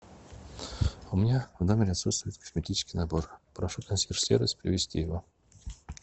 у меня в номере отсутствует косметический набор прошу консьерж сервис принести его